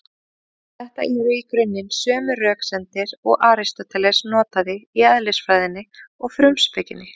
Þetta eru í grunninn sömu röksemdir og Aristóteles notaði í Eðlisfræðinni og Frumspekinni.